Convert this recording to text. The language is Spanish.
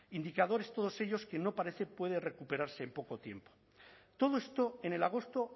indicadores todos ellos que no parece pueden recuperarse en poco tiempo todo esto en el agosto